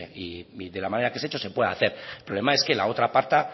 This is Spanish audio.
y de la manera que se ha hecho se puede hacer el problema es que la otra pata